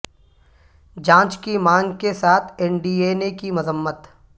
جانچ کی مانگ کے ساتھ این ڈی اے نے کی مذمت